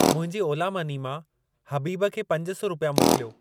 मुंहिंजी ओला मनी मां हबीब खे पंज सौ रुपिया मोकिलियो।